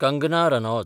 Kangana Ranaut